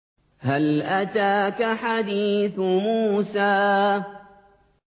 هَلْ أَتَاكَ حَدِيثُ مُوسَىٰ